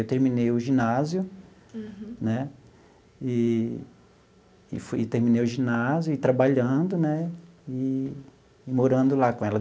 Eu terminei o ginásio, né, e e fui e terminei o ginásio e trabalhando, né, e e morando lá com ela.